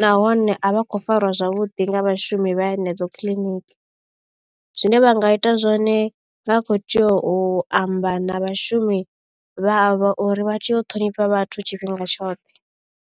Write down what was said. nahone a vha khou fariwa zwavhuḓi nga vhashumi vha henedzo kiḽiniki zwine vha nga ita zwone vha kho tea u amba na vhashumi vha a vha uri vha tea u ṱhonifha vhathu tshifhinga tshoṱhe.